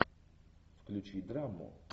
включи драму